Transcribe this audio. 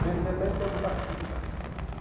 Pensei até em ser um taxista.